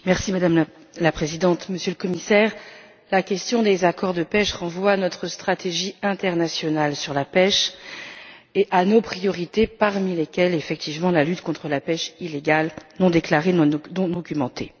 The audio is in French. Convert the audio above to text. Madame la Présidente, Monsieur le Commissaire, la question des accords de pêche renvoie à notre stratégie internationale sur la pêche et à nos priorités, parmi lesquelles figurent effectivement la lutte contre la pêche illégale, non déclarée et non documentée.